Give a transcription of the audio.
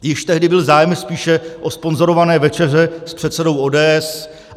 Již tehdy byl zájem spíše o sponzorované večeře s předsedou ODS.